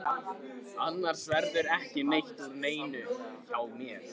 Annars verður ekki neitt úr neinu hjá mér.